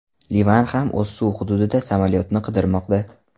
Livan ham o‘z suv hududida samolyotni qidirmoqda.